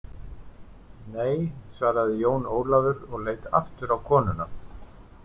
Nei, svaraði Jón Ólafur og leit aftur á konuna.